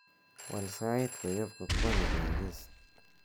wal sait koyop kokwoni koik ist